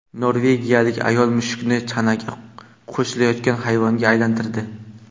Norvegiyalik ayol mushukni chanaga qo‘shiladigan hayvonga aylantirdi .